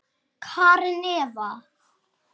Karen Eva.